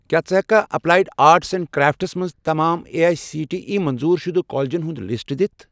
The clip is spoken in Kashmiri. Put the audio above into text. کیٛاہ ژٕ ہیٚککھا ایٚپلایڈ آرٹس اینٛڈ کرٛافٹس مَنٛز تمام A I C T E منظور شُدٕ کالجن ہُنٛد لسٹ دِتھ؟